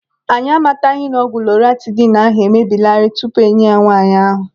Anyị amataghị na ọgwụ lọratidinu ahụ emebieelarị tupu enye ya nwaanyị ahụ.